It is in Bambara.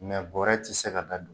N gɛɛ bɔrɛ t'i se ka da